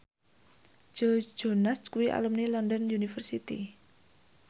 Joe Jonas kuwi alumni London University